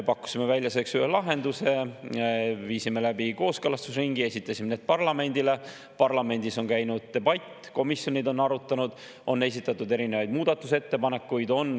Pakkusime välja lahenduse, viisime läbi kooskõlastusringi, esitasime need parlamendile, parlamendis on käinud debatt, komisjonid on arutanud, on esitatud erinevaid muudatusettepanekuid.